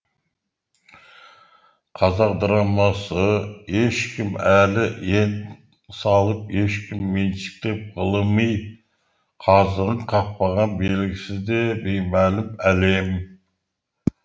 қазақ драмасы ешкім әлі ен салып ешкім меншіктеп ғылыми қазығын қақпаған белгісіз де беймәлім әлем